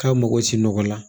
K'a mago si nɔgɔ la